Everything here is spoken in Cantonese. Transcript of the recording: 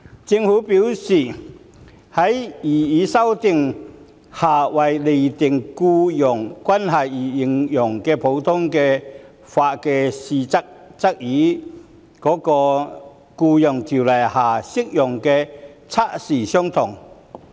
政府表示，在擬議修訂下為釐定僱傭關係而應用的普通法測試，與《僱傭條例》下適用的測試相同。